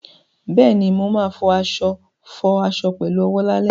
Bẹ́ẹ̀ni, mo ma fọ aṣọ fọ aṣọ pẹ̀lú owó lálẹ́